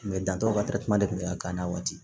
dantɔ ka telita kun bɛ ka k'an na waati